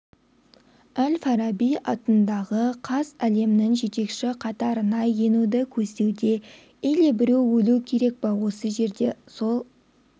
әл-фараби атындағы қаз әлемнің жетекші қатарына енуді көздеуде или біреу өлу керек па осы жерде сол